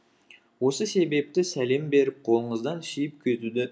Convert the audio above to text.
осы себепті салем беріп қолыңыздан сүйіп кетуді